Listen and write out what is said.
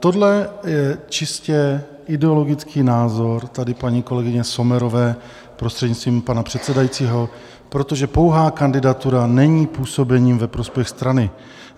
Tohle je čistě ideologický názor tady paní kolegyně Sommerové, prostřednictvím pana předsedajícího, protože pouhá kandidatura není působením ve prospěch strany.